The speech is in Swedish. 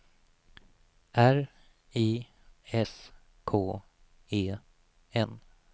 R I S K E N